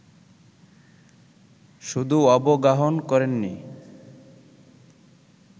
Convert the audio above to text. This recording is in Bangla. শুধু অবগাহন করেননি